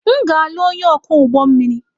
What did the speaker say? M ga-alụ onye ọkwọ ụgbọ mmiri.